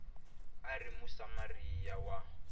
a a ri musamariya wa